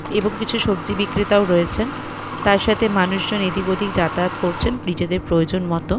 এবং কিছু সবজি বিক্রেতাও রয়েছেন। তার সাথে মানুষজন এদিক ওদিক যাতায়াত করছেন নিজেদের প্রয়োজন মতো ।